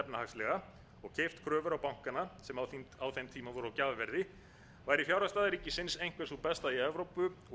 efnahagslega og keypt kröfur bankanna sem á þeim tíma voru á gjafverði væri fjárhagsstaða ríkisins einhver sú besta í evrópu og aðstaðan til